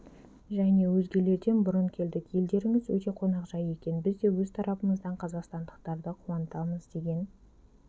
және өзгелерден бұрын келдік елдеріңіз өте қонақжай екен біз де өз тарапымыздан қазақстандықтарды қуантамыз деген